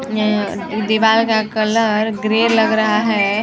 ऎ दीवार का colour grey लग रहा हैं ।